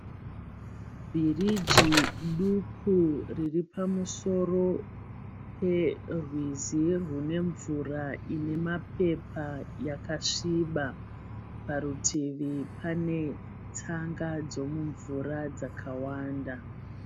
Bhiriji duku riripamusoro perwizi rune mvura inemapepa yakasviba. Parutivi panetsanga dzemumvura dzakawanda.